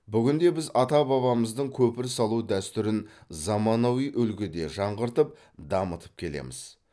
бүгінде біз ата бабамыздың көпір салу дәстүрін заманауи үлгіде жаңғыртып дамытып келеміз